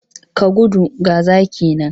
Ka gudu! ga zaki nan.